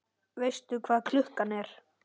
Veistu hvað klukkan er?